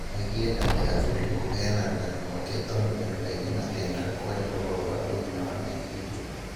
Oigire atĩ aathuurire kũheana rũgano rwake tondũ andũ aingĩ matiendaga kwarĩa ũhoro wa ũgima wa meciria.